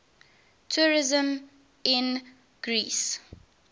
tourism in greece